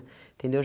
Entendeu?